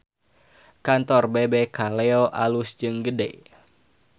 Kantor Bebek Kaleyo alus jeung gede